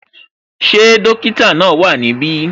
Ṣé dókítà náà wá ní ibi?